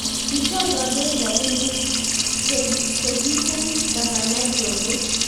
Kichor kandoik rabinik ce kinem Gavana Joho